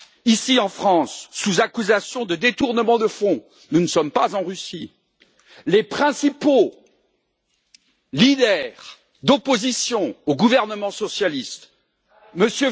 Ici, en France, sous l'accusation de détournement de fonds nous ne sommes pas en Russie les principaux chefs de l'opposition au gouvernement socialiste, M.